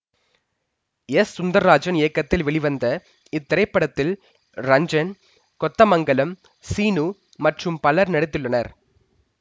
S Sundarrajan இயக்கத்தில் வெளிவந்த இத்திரைப்படத்தில் ரஞ்சன் கொத்தமங்கலம் சீனு மற்றும் பலரும் நடித்துள்ளனர்